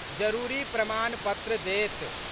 जरूरी प्रमाण पत्र देत।